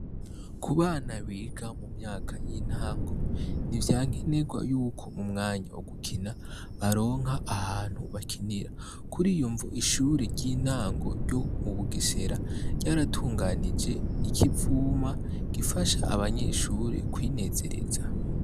Ku bana biga mu myaka y'intango ni vya nkenerwa yuko mu mwanya wo gukina baronka ahantu bakinira kuri iyo mvu ishure ry'intango ryo mu bugesera ryaratunganije ikivuma gifasha abanyeshure kwinezereza.